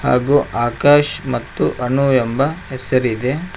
ಹಾಗೂ ಆಕಾಶ್ ಮತ್ತು ಅನು ಎಂಬ ಹೆಸರಿದೆ.